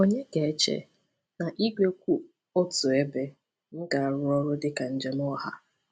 Ònye ga-eche na igwe kwụ otu ebe m ga-arụ ọrụ dị ka njem ọha?